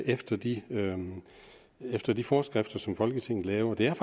efter de efter de forskrifter som folketinget laver det er